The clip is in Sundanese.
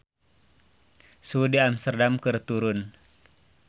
Suhu di Amsterdam keur turun